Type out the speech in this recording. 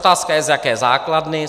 Otázka je, z jaké základny.